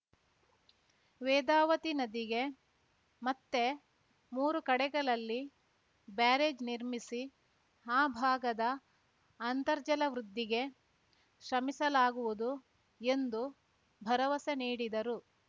ವೇದಾವತಿ ನದಿಗೆ ಮತ್ತೆ ಮೂರು ಕಡೆಗಳಲ್ಲಿ ಬ್ಯಾರೇಜ್‌ ನಿರ್ಮಿಸಿ ಈ ಭಾಗದ ಅಂತರ್ಜಲ ವೃದ್ಧಿಗೆ ಶ್ರಮಿಸಲಾಗುವುದು ಎಂದು ಭರವಸೆ ನೀಡಿದರು